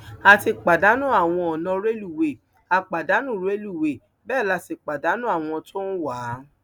a ti pàdánù àwọn ọnà rélùwéè a pàdánù rélùwéè bẹẹ la sì pàdánù àwọn tó ń wá a